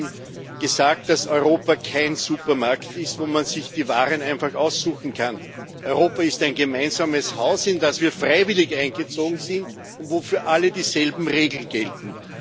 Ich hätte ihm gesagt, dass Europa kein Supermarkt ist, wo man sich die Waren einfach aussuchen kann. Europa ist ein gemeinsames Haus, in das wir freiwillig eingezogen sind und wo für alle dieselben Regeln gelten.